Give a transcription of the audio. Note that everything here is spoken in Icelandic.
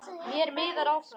Mér miðar áfram.